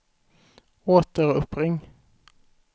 återuppring